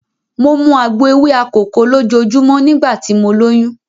Mo mu àgbo ewé akòko lójoojúmọ́ nígbà tí mo lóyún.